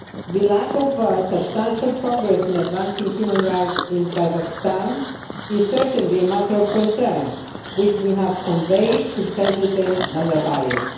The lack of substantial progress in advancing human rights in Kazakhstan is certainly a matter of concern which we have conveyed to President Nazarbayev.